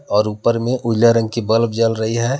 और ऊपर मे उजला रंग की बल्ब जल रही है।